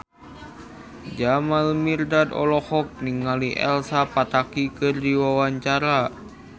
Jamal Mirdad olohok ningali Elsa Pataky keur diwawancara